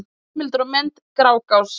Heimildir og myndir: Grágás.